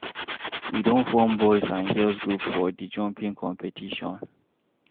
We don form boys and girls group for di jumping competition.